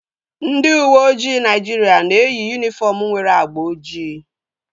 Ndị uweojii Naịjiria na-eyi yunifọm nwere agba ojii